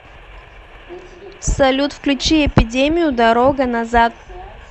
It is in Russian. салют включи эпидемию дорога назад